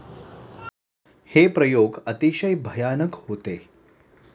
हे प्रयोग अतिशय भयानक होते.